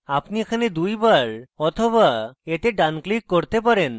আপনি এটিতে দুইবার অথবা এতে ডান click করতে পারেন